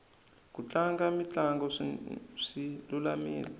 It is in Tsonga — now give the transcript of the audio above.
ku tlanga mitlango swi lulamile